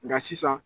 Nka sisan